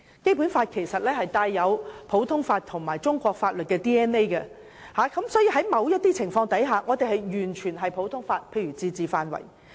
《基本法》其實帶有普通法和中國法律的 "DNA"， 所以在某些情況下，我們完全採用普通法，例如自治範圍。